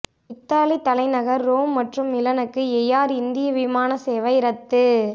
Italy தலைநகர் Rome மற்றும் மிலனுக்கு எயார் இந்தியா விமான சேவை ரத்து